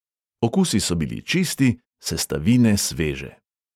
Okusi so bili čisti, sestavine sveže.